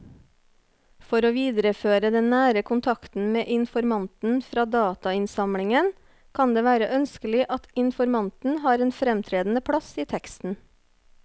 For å videreføre den nære kontakten med informanten fra datainnsamlingen kan det være ønskelig at informanten har en fremtredende plass i teksten.